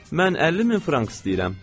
Mən 50 min frank istəyirəm.